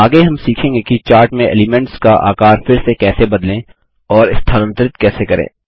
आगे हम सीखेंगे कि चार्ट में एलीमेंट्स का आकार फिर से कैसे बदलें और स्थानांतरित कैसे करें